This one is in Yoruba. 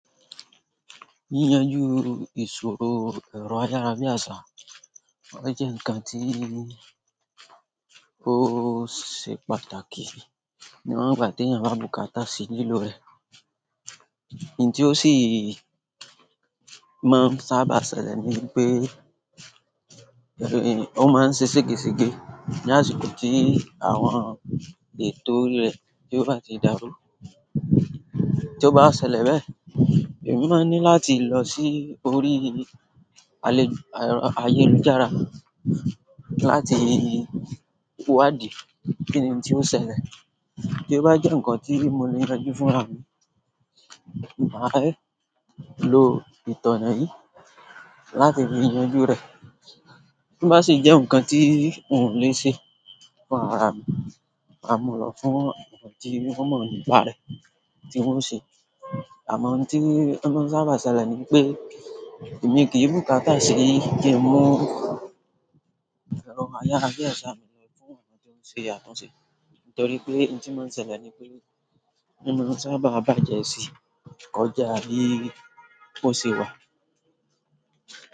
Yíyanjú ìṣòro ẹ̀rọ ayárabíàsá wà jẹ́ ǹkan tí ó ṣe pàtàkì. Niwon ìgbà tí eeyan bá bu kata sí lílò rẹ̀, ihuǹ tí ó sì máa ń sábà ṣẹlẹ̀ ni pé, ó máa ń ṣẹ́ sègè sègè ní àsìkò tí àwọn ètò orí rẹ̀ tí ó bá ti dàru. Tí ó bá ṣẹlẹ̀ bẹ́ẹ̀, èmi máa ní láti lọ sí orí alẹ́ ero ayélujára láti wádìí kíni ihun ti o ṣẹlẹ̀. Tí ó bá jẹ́ ǹkan tí mo le yanjú fúnra mi, màá lo ìtọ̀nà yìí láti fi yanjú rẹ̀. Ti o ba si je nǹkan ti wun o le se, ma mu lo fún àwọn ti won mo nípa re, ti won o se. Àmọ́ ihuǹ tí ó máa ń sábà ṣẹlẹ̀ ni pé èmi kí n bú kata sí í kí n mu ero ayárabíàsá mi ṣe àtúnṣe. Nítorí pé ihuǹ tí máa ń ṣẹlẹ̀ ni pé, i máa ń sábà bájẹ́ sí kọ̀já bi ó ṣe wá.